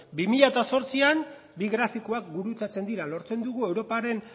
bi mila zortzian bi grafikoak gurutzatzen dira lortzen dugu europaren